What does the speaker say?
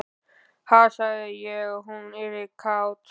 Ha, sagði ég að hún yrði kát?